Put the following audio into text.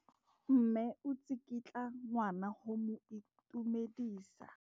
Mme o tsikitla ngwana go mo itumedisa.